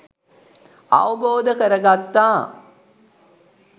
අවබෝධ කර ගත්තා